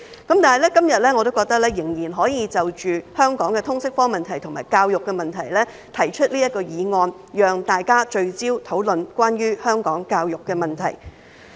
但是，我認為今天仍然可以就香港的通識科問題和教育問題，提出這項議案，讓大家聚焦討論關於香港教育的問題。